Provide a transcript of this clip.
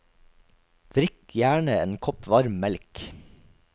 Drikk gjerne en kopp varm melk.